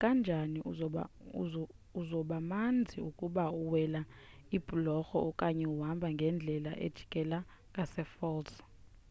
nakanjani uzobamanzi ukuba uwela ibhulorho okanye uhamba ngeendlela ezijikela ngasefalls